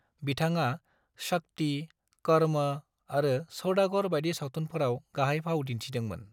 बिथाङा 'शक्ति', 'कर्म' आरो 'सौदागर' बायदि सावथुनफोराव गाहाय फाव दिन्थिदोंमोन।